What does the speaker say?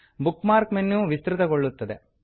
book mark menu ವಿಸ್ತೃತಗೊಳ್ಳುತದೆ